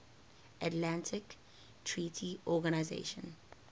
atlantic treaty organisation